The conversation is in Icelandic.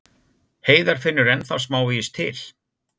Heiðar finnur ennþá smávegis til.